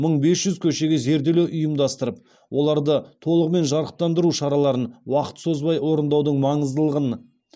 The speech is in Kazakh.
мың бес жүз көшеге зерделеу ұйымдастырып оларды толығымен жарықтандыру шараларын уақыт созбай орындаудың маңыздылығын